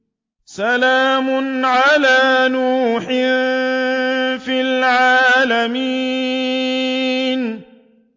سَلَامٌ عَلَىٰ نُوحٍ فِي الْعَالَمِينَ